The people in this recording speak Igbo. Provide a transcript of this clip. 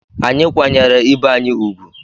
Anyị kwanyere ibe anyị ùgwù.